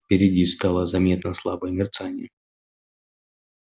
впереди стало заметно слабое мерцание